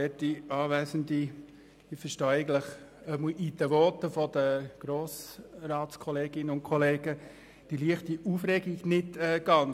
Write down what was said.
Ich verstehe die leichte Aufregung in den Voten der Grossratskolleginnen und -kollegen nicht ganz.